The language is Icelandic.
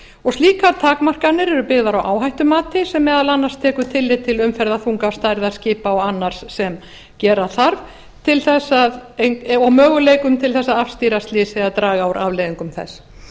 og slíkar takmarkanir eru byggðar á áhættumati sem meðal annars tekur tillit til umferðarþunga stærðar skipa og annars sem gera þarf til þess að og möguleikum til þess að afstýra slysi eða draga úr afleiðingum þess